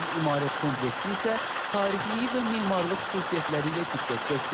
Ağdam İmarət kompleksi isə tarixiylihi və memarlıq xüsusiyyətləri ilə diqqət çəkdi.